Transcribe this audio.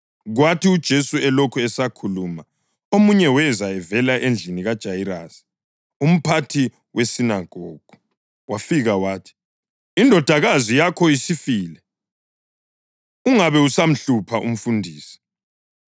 Kwathi uJesu elokhu esakhuluma omunye weza evela endlini kaJayirasi umphathi wesinagogu, wafika wathi, “Indodakazi yakho isifile. Ungabe usamhlupha umfundisi.”